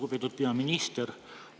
Lugupeetud peaminister!